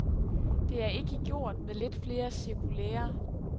Det er ikke gjort med lidt flere cirkulærer.